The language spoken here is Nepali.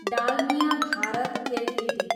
डालमिया भारत एलटिडी